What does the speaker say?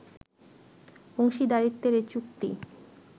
অংশীদারিত্বের এ চুক্তি